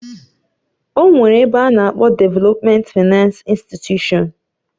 Onwere ebe ana akpo Devèlopment Finánce Instịtushọ̀n